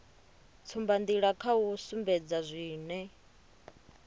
tsumbanḓila kha u sumbedza zwine